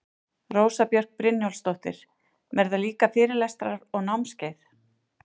Rósa Björk Brynjólfsdóttir: Verða líka fyrirlestrar og námskeið?